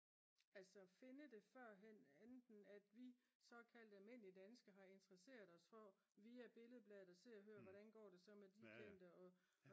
altså finde det førhen enten at vi såkaldte almindelige danskere har interesseret os for via Billedbladet og Se og Hør hvordan går det så med lige den der og